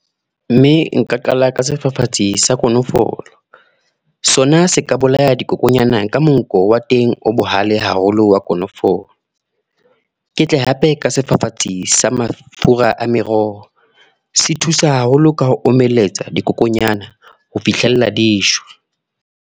Mme nka qala ka sefafatsi sa kolofo. Sona se ka bolaya dikokonyana ka monko wa teng o bohale haholo wa konofolo. Ke tle hape ka sefafatsi sa mafura a meroho. Se thusa haholo ka ho omelletsa, dikokonyana ho fihlella dishwe.